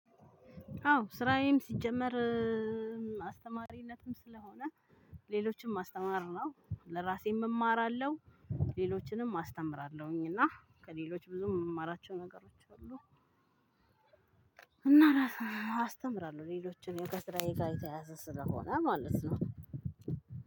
አዎ ስራዬም ሲጀመር አስተማሪነትም ስለሆነ ሌሎችም ማስተማር ነው ለራሴም እማራለሁ ሌሎችንም አስተምራለሁኝ እና ከሌሎች ብዙም የምማራቸው ነገሮች አሉ። እና ራሱን አስተምራለሁ ሌሎችን የከስራዬ ጋር የተያያዘ ስለሆነ ማለት ነው።